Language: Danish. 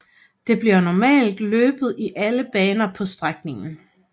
Der bliver normalt løbet i alle baner på strækningen